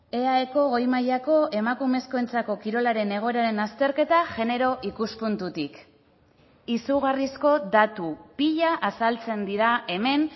eaeko goi mailako emakumezkoentzako kirolaren egoeraren azterketa genero ikuspuntutik izugarrizko datu pila azaltzen dira hemen